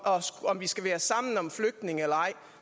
om vi skal være sammen om flygtninge eller ej